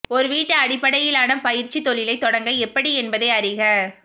ஒரு வீட்டு அடிப்படையிலான பயிற்சி தொழிலை தொடங்க எப்படி என்பதை அறிக